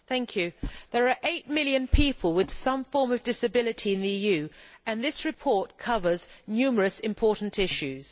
Mr President, there are eight million people with some form of disability in the EU, and this report covers numerous important issues.